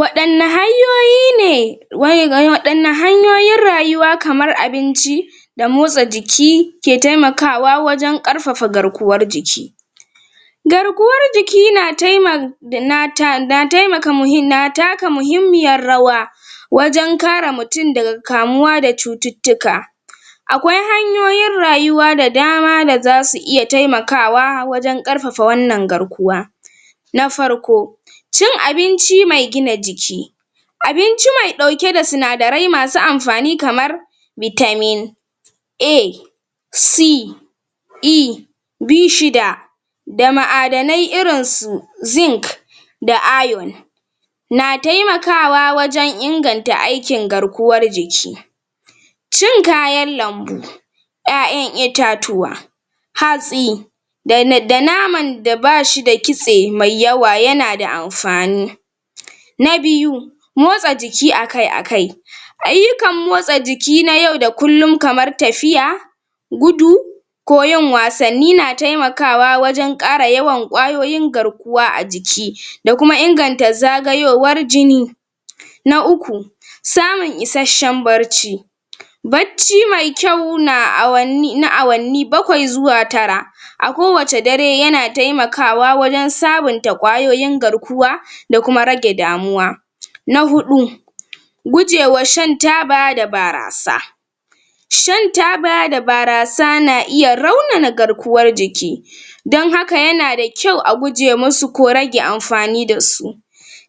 Waɗanna hanyoyi ne um waɗanna hanyoyin rayuwa kamar abinci da motsa jiki ke taimakawa wajen ƙarfafa garkuwar jiki garkuwar jiki na um na taka muhimmiyar rawa wajen kare mutum daga kamuwa da cututtuka akwai hanyoyin rayuwa da dama da za su iya taimakawa wajen ƙarfafa wannan garkuwa na farko cin abinci mai gina jiki abinci mai ɗauke da sinadarai masu amfani kamar shida da ma'adanai irin su da na taimakawa wajen inganta aikin garkuwar jiki in kayan lambu ƴaƴan itatuwa hatsi um da naman da bashi da kitse mai yawa yana da amfani na biyu motsa jiki a kai a kai ayyukan motsa jiki na yau da kullum kamar tafiya gudu ko yin wasanni nan taimakawa wajen ƙara yawan ƙwayoyin garkuwa a jikida kuma inganta zagayowar jini na uku samun isasshen barci bacci mai kyau na awanni na awanni bakwai zuwa tara a ko wace dare yana taimakawa wajen sabunta ƙwayoyin garkuwa da kuma rage damuwa. Na huɗu gujewa shan taba da barasa shan taba da barasa na iya raunana garkuwar jiki don haka yana da kyau a guje musu ko rage amfani da su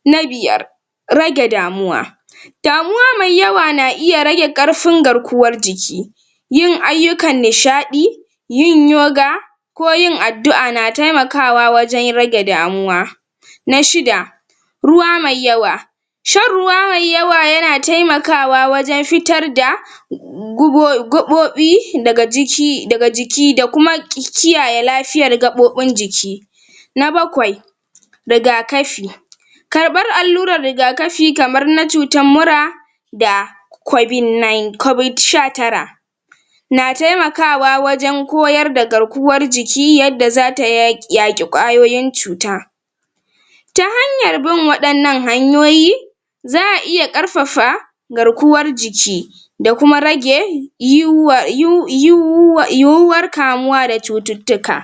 na biyar rage damuwa damuwa mai yawa na iya rage ƙarfin garkuwar jiki yin ayyukan nishaɗi yin yoga ko yin addu'a na taimakawa wajen rage damuwa na shida ruwa mai yawa shan ruwa mai yawa yana taimakawa wajen fitar da um daga jiki daga jiki da kuma kiyaye lafiyar gaɓoɓin jiki na bakwai rigakafi karɓar allurar rigakafi kamar na cutar mura da sha tara na taimakawa wajen koyar da garkuwaar jiki yadda za ta yaƙi ƙwayoyin cuta ta hanyar bin waɗannan hanyoyi za a iya ƙarfafa garkuwar jiki da kuma um um \yiwuwar kamuwa da um